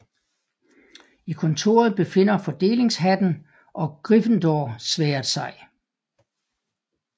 I kontoret befinder Fordelingshatten og Gryffindorsværdet sig